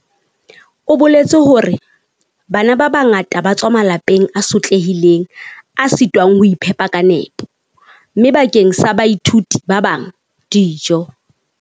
O boletse hore, bana ba bangata ba tswa malapeng a sotlehileng a sitwang ho iphepa ka nepo, mme bakeng sa baithuti ba bang, dijo.